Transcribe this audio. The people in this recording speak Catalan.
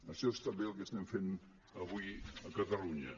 això és també el que estem fent avui a catalunya